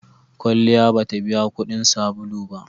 Kwalliya ba ta biya kuɗin sabulu ba.